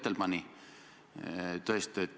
Taavi Rõivas, täpsustav küsimus.